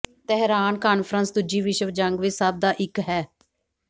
Tehran conference ਦੂਜੀ ਵਿਸ਼ਵ ਜੰਗ ਵਿੱਚ ਸਭ ਦਾ ਇੱਕ ਹੈ